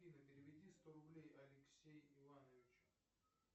афина переведи сто рублей алексей ивановичу